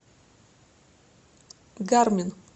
гармин